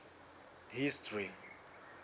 history